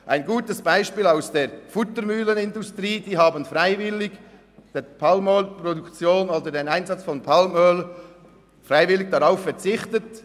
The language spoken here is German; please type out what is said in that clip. Ein gutes Beispiel aus der Futtermühlenindustrie: Dort haben die Mühlen freiwillig auf den Einsatz von Palmöl verzichtet.